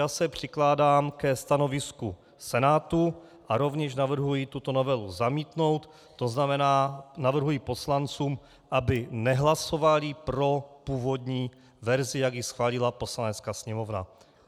Já se přikláním ke stanovisku Senátu a rovněž navrhuji tuto novelu zamítnout, to znamená, navrhuji poslancům, aby nehlasovali pro původní verzi, jak ji schválila Poslanecká sněmovna.